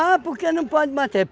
porque não pode bater.